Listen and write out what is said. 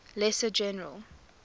lesser general